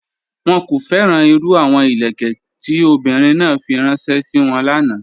Wọ́n kò fẹ́ràn irú àwọn ilẹ̀kẹ̀ tó ọ̀bìnrin náà fí ránṣẹ̀ sí wọ́n lána.